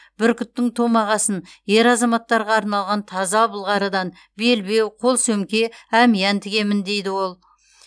бүркіттің томағасын ер азаматтарға арналған таза былғарыдан белбеу қол сөмке әмиян тігемін дейді ол